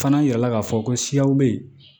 Fana yirala k'a fɔ ko siyaw bɛ yen